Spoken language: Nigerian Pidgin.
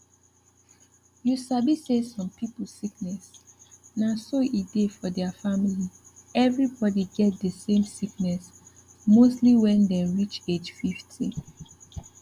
you sabi say some pipu sickness na so e dey for deir family everybody get dey same sickness mostly wen dem reach age 50